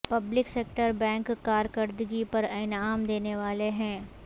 public sector bank کارکردگی پر انعام دینے والے ہیں